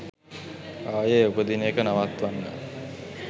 ආයේ උපදින එක නවත්වන්න